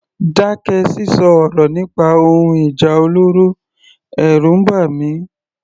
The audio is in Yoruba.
Dákẹ́ sísọ ọ̀rọ̀ nípa ohun ìjà olóró, ẹ̀rù ń bà mí.